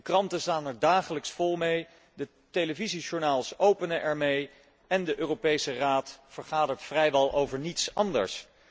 De kranten staan er dagelijks vol mee, de televisiejournaals openen ermee en de Europese Raad vergadert vrijwel over niets anders.